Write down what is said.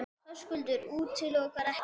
Höskuldur: Útilokar ekkert?